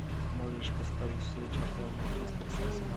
можешь поставить встречу апл манчестер с арсеналом